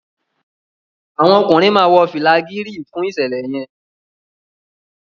àwọn ọkùnrin má wọ fìlà Gírèè fún iṣẹlẹ yen